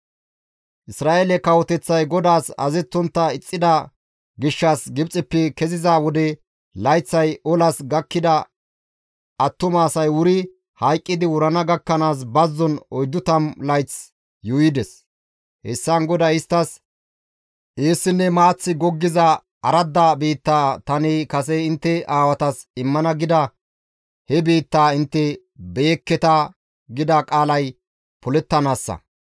Isra7eele kawoteththay GODAAS azazettontta ixxida gishshas Gibxeppe keziza wode layththay olas gakkida attuma asay wuri hayqqidi wurana gakkanaas bazzon 40 layth yuuyides; hessan GODAY isttas, «Eessinne maaththi goggiza aradda biitta tani kase intte aawatas immana gida he biittaa intte beyekketa» gida qaalay polettanaassa.